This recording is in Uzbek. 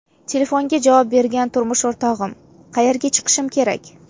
Telefonga javob bergan turmush o‘rtog‘im: ‘Qayerga chiqishim kerak?